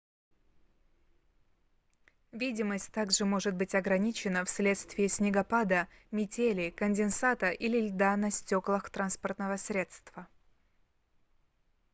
видимость также может быть ограничена вследствие снегопада метели конденсата или льда на стёклах транспортного средства